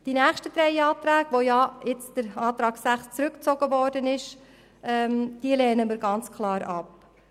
Die nächsten drei Anträge, von denen der Antrag 6 zurückgezogen wurde, lehnen wir klar ab.